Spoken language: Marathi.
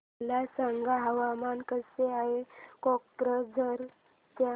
मला सांगा हवामान कसे आहे कोक्राझार चे